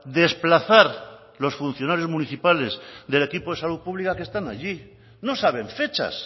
desplazar los funcionarios municipales del equipo de salud pública que están allí no saben fechas